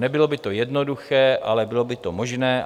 Nebylo by to jednoduché, ale bylo by to možné.